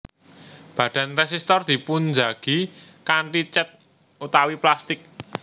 Badan résistor dipunjagi kanthi cèt utawi plastik